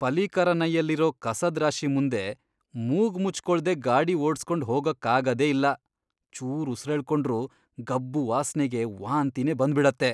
ಪಲೀಕರನೈಯಲ್ಲಿರೋ ಕಸದ್ ರಾಶಿ ಮುಂದೆ ಮೂಗ್ ಮುಚ್ಕೊಳ್ದೇ ಗಾಡಿ ಓಡ್ಸ್ಕೊಂಡ್ ಹೋಗಕ್ಕಾಗದೇ ಇಲ್ಲ. ಚೂರ್ ಉಸ್ರೆಳ್ಕೊಂಡ್ರೂ ಗಬ್ಬು ವಾಸ್ನೆಗೆ ವಾಂತಿನೇ ಬಂದ್ಬಿಡತ್ತೆ.